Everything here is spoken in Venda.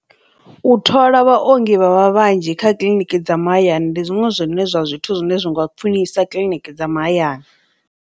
U thola vhaongi vhavha vhanzhi kha kiḽiniki dza mahayani ndi zwiṅwe zwine zwa zwithu zwine zwi nga khwinisa kiḽiniki dza mahayani.